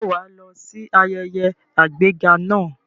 Ǹjẹ́ wà á lọ sí ayẹyẹ àgbéga náà?